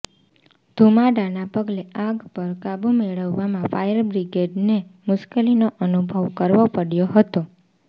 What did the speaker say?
ધૂમાડાના પગલે આગ પર કાબૂ મેળવવામાં પણ ફાયરબ્રિગેડને મુશ્કેલીનો અનુભવ કરવો પડ્યો હતો